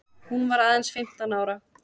Hún varð aðeins fimmtán ára.